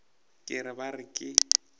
ke re ba re ke